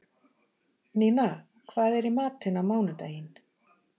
Nína, hvað er í matinn á mánudaginn?